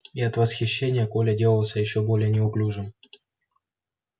и от восхищения коля делался ещё более неуклюжим